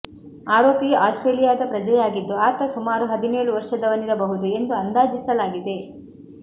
ಆರೋಪಿಯು ಆಸ್ಟ್ರೇಲಿಯಾದ ಪ್ರಜೆಯಾಗಿದ್ದು ಆತ ಸುಮಾರು ಹದಿನೇಳು ವರ್ಷದವನಿರಬಹುದು ಎಂದು ಅಂದಾಜಿಸಲಾಗಿದೆ